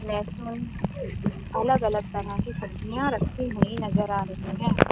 Racks में अलग अलग तरह सब्जियां रखी नजर आ रही हैं।